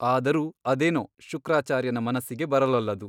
ಆದರೂ ಅದೇನೋ ಶುಕ್ರಾಚಾರ್ಯನ ಮನಸ್ಸಿಗೆ ಬರಲೊಲ್ಲದು.